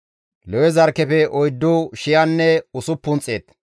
Lewe zarkkefe oyddu shiyanne usuppun xeet,